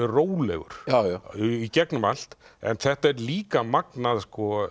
rólegur í gegnum allt en þetta er líka magnað